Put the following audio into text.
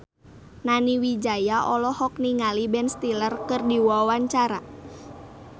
Nani Wijaya olohok ningali Ben Stiller keur diwawancara